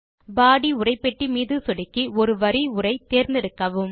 பாடி உரைப்பெட்டி மீது சொடுக்கி ஒரு வரி உரை தேர்ந்தெடுக்கவும்